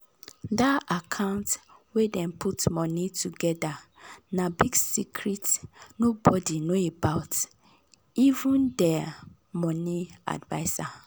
dir account wey dem put money togedr na big secret nobody know about am even dir money adviser